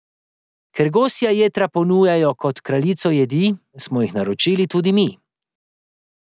Ker gosja jetra ponujajo kot kraljico jedi, smo jih naročili tudi mi.